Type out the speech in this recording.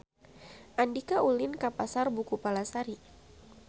Andika ulin ka Pasar Buku Palasari